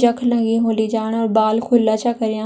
जख लगीं हुली जाणा और बाल खुला छ करयां।